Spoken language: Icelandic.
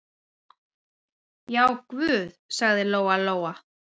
Já, guð, sagði Lóa-Lóa.